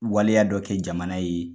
Waleya dɔ kɛ jamana ye.